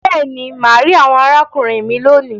Béèni, má rí àwòn arákùnrin mí lóni.